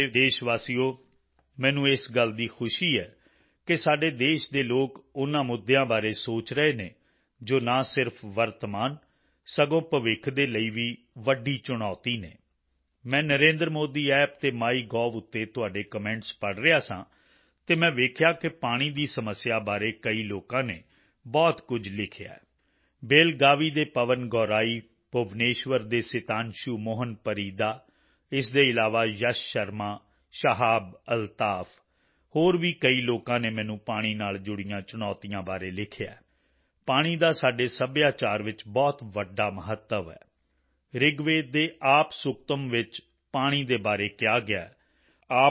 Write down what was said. ਮੇਰੇ ਪਿਆਰੇ ਦੇਸ਼ਵਾਸੀਓ ਮੈਨੂੰ ਇਸ ਗੱਲ ਦੀ ਖੁਸ਼ੀ ਹੈ ਕਿ ਸਾਡੇ ਦੇਸ਼ ਦੇ ਲੋਕ ਉਨ੍ਹਾਂ ਮੁੱਦਿਆਂ ਬਾਰੇ ਸੋਚ ਰਹੇ ਹਨ ਜੋ ਨਾ ਸਿਰਫ਼ ਵਰਤਮਾਨ ਸਗੋਂ ਭਵਿੱਖ ਦੇ ਲਈ ਵੀ ਵੱਡੀ ਚੁਣੌਤੀ ਹਨ ਮੈਂ NarendraModiApp ਅਤੇ ਮਾਈਗੋਵ ਤੇ ਤੁਹਾਡੇ ਕਮੈਂਟਸ ਪੜ੍ਹ ਰਿਹਾ ਸਾਂ ਅਤੇ ਮੈਂ ਵੇਖਿਆ ਕਿ ਪਾਣੀ ਦੀ ਸਮੱਸਿਆ ਬਾਰੇ ਕਈ ਲੋਕਾਂ ਨੇ ਬਹੁਤ ਕੁਝ ਲਿਖਿਆ ਹੈ ਬੇਲਗਾਵੀ ਬੇਲਾਗਾਵੀ ਦੇ ਪਵਨ ਗੌਰਾਈ ਭੁਵਨੇਸ਼ਵਰ ਦੇ ਸਿਤਾਂਸ਼ੂ ਮੋਹਨ ਪਰੀਦਾ ਇਸ ਦੇ ਇਲਾਵਾ ਯਸ਼ ਸ਼ਰਮਾ ਸ਼ਾਹਾਬ ਅਲਤਾਫ ਹੋਰ ਵੀ ਕਈ ਲੋਕਾਂ ਨੇ ਮੈਨੂੰ ਪਾਣੀ ਨਾਲ ਜੁੜੀਆਂ ਚੁਣੌਤੀਆਂ ਬਾਰੇ ਲਿਖਿਆ ਹੈ ਪਾਣੀ ਦਾ ਸਾਡੇ ਸੱਭਿਆਚਾਰ ਵਿੱਚ ਬਹੁਤ ਵੱਡਾ ਮਹੱਤਵ ਹੈ ਰਿਗਵੇਦ ਦੇ ਆਪ ਸੁਕਤਮ੍ आपः सुक्तम् ਵਿੱਚ ਪਾਣੀ ਦੇ ਬਾਰੇ ਕਿਹਾ ਗਿਆ ਹੈ